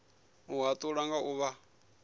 u hatula nga u vha